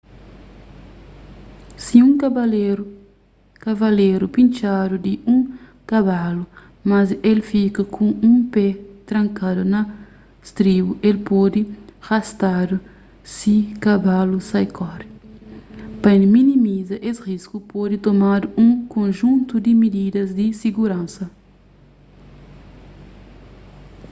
si un kavaleru pintxadu di un kabalu mas el fika ku un pé trankadu na stribu el pode rastadu si kabalu sai kore pa minimiza es risku pode tomadu un konjuntu di mididas di siguransa